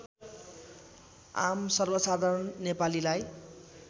आम सर्वसाधारण नेपालीलाई